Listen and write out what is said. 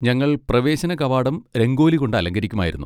ഞങ്ങൾ പ്രവേശന കവാടം രംഗോലി കൊണ്ട് അലങ്കരിക്കുമായിരുന്നു.